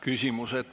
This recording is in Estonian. Küsimused.